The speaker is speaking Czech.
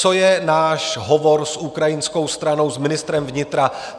Co je náš hovor s ukrajinskou stranou, s ministrem vnitra?